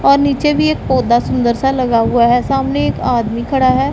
और नीचे भी एक पौधा सुंदर सा लगा हुआ है सामने एक आदमी खड़ा है।